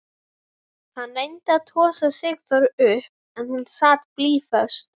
Hann reyndi að tosa Sigþóru upp en hún sat blýföst.